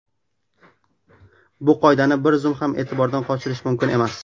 Bu qoidani bir zum ham e’tibordan qochirish mumkin emas!